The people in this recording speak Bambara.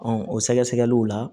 Ɔn o sɛgɛsɛgɛliw la